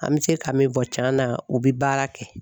An bɛ se ka min fɔ tiɲɛ na o bɛ baara kɛ.